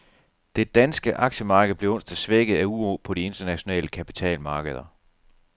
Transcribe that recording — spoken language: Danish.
Det danske aktiemarked blev onsdag svækket af uro på de internationale kapitalmarkeder.